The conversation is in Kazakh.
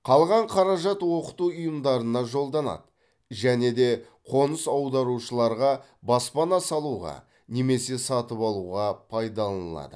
қалған қаражат оқыту ұйымдарына жолданады және де қоныс аударушыларға баспана салуға немесе сатып алуға пайдаланылады